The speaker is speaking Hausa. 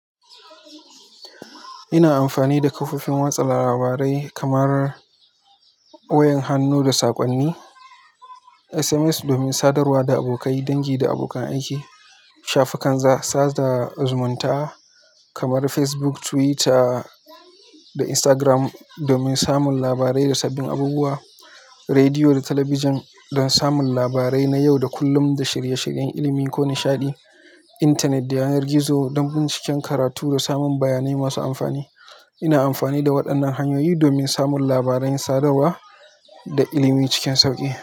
Ina amfani da kafofin watsa labarai kamar wayan hannu da saƙonni, SMS domin sadarwa da abokai, dangi da abokan aiki, shafukan sada zumunta kamar Facebook, Twitter da Instagram domin samun labarai da sabbin abubuwa, rediyo da talabijin don samun labarai na yau da kullum da shirye-shiryen ilimi ko nishaɗi, intanet da yanar gizo don binciken karatu da samun bayanai masu amfani. Ina amfani da waɗannan hanyoyi domin samun labaran sadarwa da ilimi cikin sauƙi.